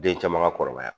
Den caman ka kɔrɔbaya